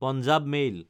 Punjab mail